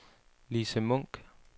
Lise Munk